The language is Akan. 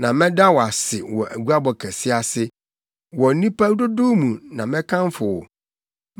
Na mɛda wo ase wɔ guabɔ kɛse ase; wɔ nnipa dodow mu na mɛkamfo wo.